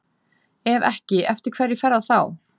Ef ekki, eftir hverju fer það þá?